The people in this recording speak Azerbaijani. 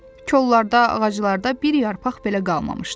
Kollarda, ağaclarda bir yarpaq belə qalmamışdı.